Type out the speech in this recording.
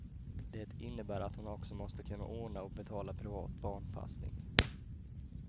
Det innebär att hon också måste kunna ordna och betala privat barnpassning.